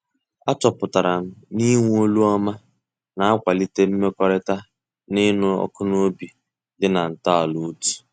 A chọpụtara m na-ịnwe olu ọma na-akwalite mmekọrịta na ịṅụ ọkụ na obi dị na ntọala otú.